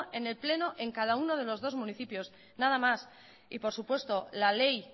en el pleno en cada uno de los dos municipios nada más y por supuesto la ley